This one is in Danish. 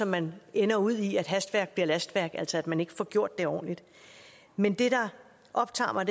man ender ud i at hastværk bliver lastværk altså at man ikke får gjort det ordentligt men det der optager mig